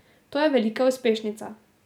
To je velika uspešnica.